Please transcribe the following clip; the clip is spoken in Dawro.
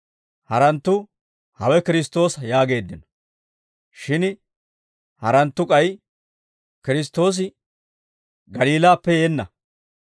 Haranttu, «Hawe Kiristtoosa» yaageeddino. Shin haranttu k'ay, «Kiristtoosi Galiilaappe yeenna.